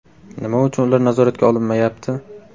Nima uchun ular nazoratga olinmayapti?